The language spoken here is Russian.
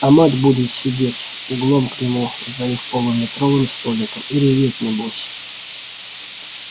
а мать будет сидеть углом к нему за их полуметровым столиком и реветь небось